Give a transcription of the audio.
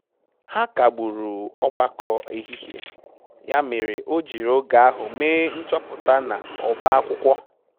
Ha kagburu ogbakọ ehihe, ya mere o jiiri oge ahụ mee nchọpụta na ọba akwụkwọ